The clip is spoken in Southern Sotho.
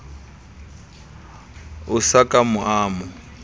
a sa ka a mo